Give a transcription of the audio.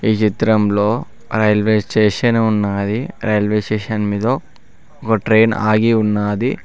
చిత్రంలో railway station ఉన్నది railway station మీద ఒక ట్రైన్ ఆగి ఉన్నాది.